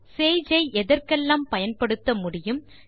Sage ஐ எதெற்கெல்லாம் பயன்படுத்த முடியும் என கற்றல்